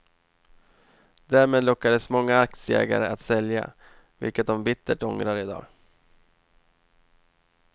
Därmed lockades många aktieägare att sälja, vilket de bittert ångrar i dag.